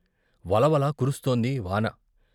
వలవల కురుస్తోంది వాన.